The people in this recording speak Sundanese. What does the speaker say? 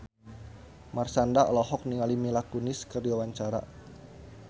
Marshanda olohok ningali Mila Kunis keur diwawancara